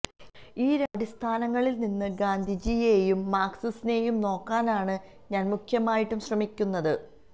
ഈ രണ്ടു അടിസ്ഥാനങ്ങളിൽ നിന്ന് ഗാന്ധിജിയെയും മാർക്സിനെയും നോക്കാനാണ് ഞാൻ മുഖ്യമായിട്ടും ശ്രമിക്കുന്നത്